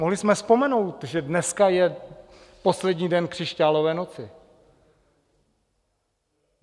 Mohli jsme vzpomenout, že dneska je poslední den křišťálové noci.